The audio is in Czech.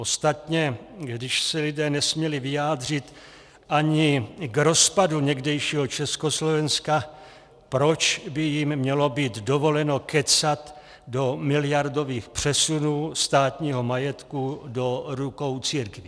Ostatně když se lidé nesměli vyjádřit ani k rozpadu někdejšího Československa, proč by jim mělo být dovoleno kecat do miliardových přesunů státního majetku do rukou církví?